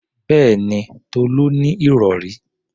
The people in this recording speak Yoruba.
Bẹ́ẹ̀mi, Tolú ní ìrọ̀rí.